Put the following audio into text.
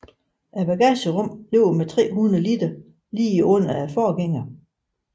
Bagagerummet ligger med 300 liter lige under forgængeren